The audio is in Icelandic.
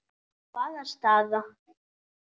Hvaða staða?